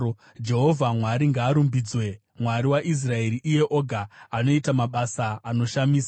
Jehovha Mwari ngaarumbidzwe, Mwari waIsraeri, iye oga anoita mabasa anoshamisa.